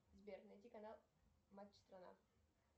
сбер найди канал матч страна